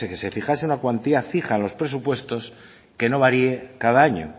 se fijase una cuantía fija en los presupuestos que no varié cada año